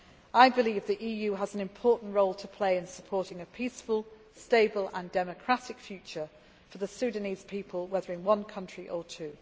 I believe the EU has an important role to play in supporting a peaceful, stable and democratic future for the Sudanese people, whether in one country or two.